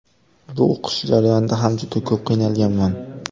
Bu o‘qish jarayonida ham juda ko‘p qiynalganman.